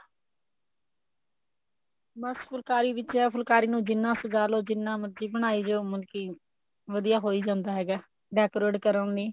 ਬੱਸ ਫੁਲਕਾਰੀ ਵਿੱਚ ਐ ਫੁਲਕਾਰੀ ਨੂੰ ਜਿੰਨਾ ਸਜਾ ਲੋ ਜਿੰਨਾ ਮਰਜੀ ਬਣਾਈ ਜੋ ਮਲਕੀ ਵਧੀਆ ਹੋਈ ਜਾਂਦਾ ਹੈਗਾ decorate ਕਰੋ ਉਹਨੀ